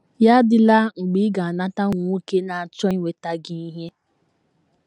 Ya adịla mgbe ị ga - anata ụmụ nwoke na - achọ inweta gị ihe.